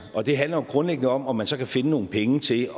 og det handler jo grundlæggende om om man så kan finde nogle penge til